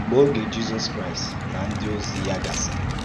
Mgbe ógè Jisọs Kraịst na ǹdí òzì ya gàsìrì